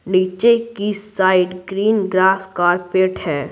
नीचे की side green grass carpet है।